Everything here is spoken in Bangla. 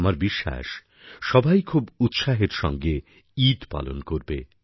আমার বিশ্বাস সবাইখুবউৎসাহের সঙ্গে ঈদ পালন করবে